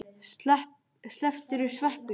Slepptirðu sveppunum?